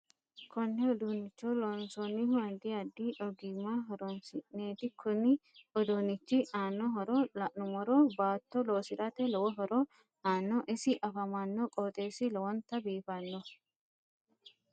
Konne uduunicho loonsoonihu addi addi ogimma horoonsineeti kuni uduunichi aano horo la'numoro baatto loosirate lowo horo aano isi afamanno qoxeesi lowonta biifanno